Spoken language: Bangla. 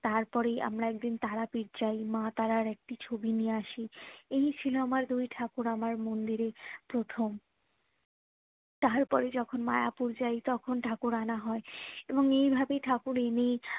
তারপরেই আমরা একদিন তারাপীঠ যাই মা তার একটি ছবি নিয়ে আসি এই ছিল আমার দুই ঠাকুর আমার মন্দিরে প্রথম তারপরে যখুন মায়াপুর যাই তখন ঠাকুর আনা হয় এবং এই ভাবে ঠাকুর এনে